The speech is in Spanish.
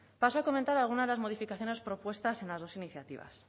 paso a comentar alguna de las modificaciones propuestas en las dos iniciativas